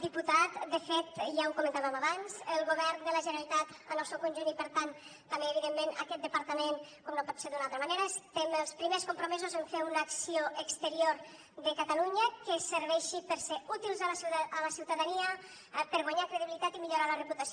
diputat de fet ja ho comentàvem abans el govern de la generalitat en el seu conjunt i per tant també evidentment aquest departament com no pot ser d’una altra manera estem els primers compromesos en fer una acció exterior de catalunya que serveixi per ser útils a la ciutadania per guanyar credibilitat i millorar la reputació